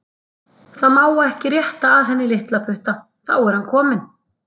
Það má ekki rétta að henni litlaputta, þá er hann kominn.